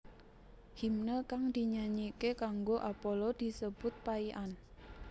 Himne kang dinyanyike kanggo Apollo disebut paian